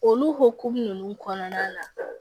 Olu hokumu nunnu kɔnɔna na